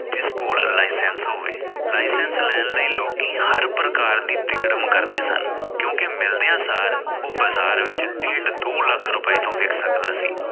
ਜਿਸ ਕੋਲ licence ਹੋਵੇ licence ਲੈਣ ਲਈ ਲੋਕੀ ਹਰ ਪ੍ਰਕਾਰ ਦੀ ਤਿਕੜਮ ਕਰਦੇ ਸਨ ਕਿਉਕਿ ਮਿਲਦਿਆਂ ਸਾਰ ਉਹ ਬਜਾਰ ਵਿਚ ਡੇਢ ਦੋ ਲੱਖ ਰੁਪਏ ਤੋਂ ਵਿਕ ਸਕਦਾ ਸੀ।